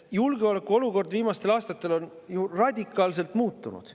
Julgeolekuolukord on viimastel aastatel ju radikaalselt muutunud.